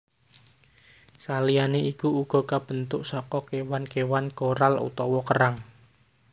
Saliyané iku uga kabentuk saka kéwan kéwan koral utawa kerang